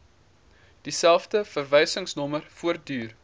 dieselfde verwysingsnommer voortduur